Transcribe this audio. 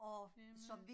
Nemlig